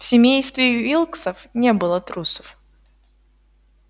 в семействе уилксов не было трусов